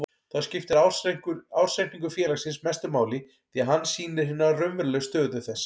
Þá skiptir ársreikningur félagsins mestu máli því að hann sýnir hina raunverulegu stöðu þess.